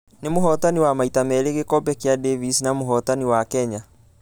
Nĩ mũhotanj wa maita merĩ gĩkobe gĩa davis na mũhotani wa ...kenya.